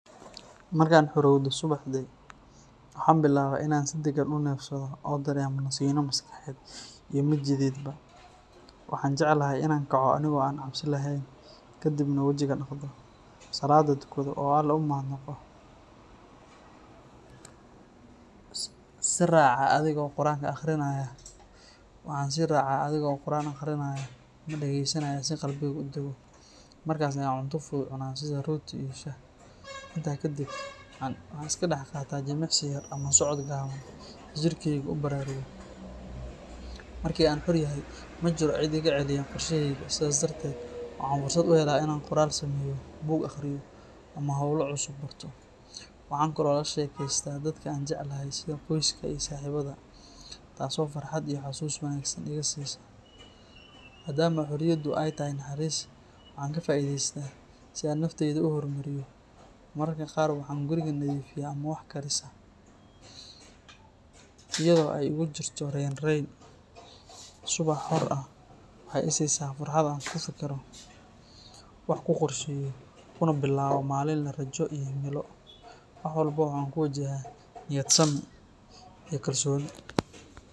Markaan xorowdo subaxdii, waxaan bilaabaa inaan si deggan u neefsado oo dareemo nasiino maskaxeed iyo mid jidheedba. Waxaan jeclahay inaan kaco anigoo aan cabsi lahayn, ka dibna wajiga dhaqdo, salaadda tukado, oo Alle u mahadnaqo. Waxaan sii raacaa adigoo quraan akhrinaya ama dhagaysanaya si qalbigaygu u daggo, markaas ayaan cunto fudud cunaa sida rooti iyo shaah. Intaa ka dib, waxaan iska dhex qaataa jimicsi yar ama socod gaaban si jirkeygu u baraarugo. Markii aan xor ahay, ma jiro cid iga celiya qorshahayga, sidaas darteed waxaan fursad u helaa inaan qoraal sameeyo, buug akhriyo, ama hawlo cusub barto. Waxaan kaloo la sheekaystaa dadka aan jecelahay sida qoyska iyo saaxiibada, taasoo farxad iyo xasuus wanaagsan iga siisa. Maadaama xorriyaddu ay tahay naxariis, waxaan ka faa’iidaystaa si aan naftayda u horumariyo. Mararka qaar waxaan guriga nadiifiyaa ama wax karisaa, iyadoo ay igu jirto raynrayn. Subax xor ah waxay i siisaa fursad aan ku fekero, wax ku qorsheeyo, kuna bilaabo maalin leh rajo iyo himilo. Wax walba waxaan ku wajahaa niyadsami iyo kalsooni.